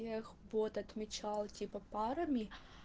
вот отмечал типа парами